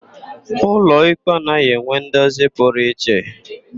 Ụlọikpe anaghị enwe ndozi pụrụ iche.